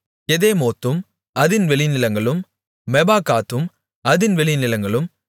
கெதெமோத்தும் அதின் வெளிநிலங்களும் மெபாகாத்தும் அதின் வெளிநிலங்களும்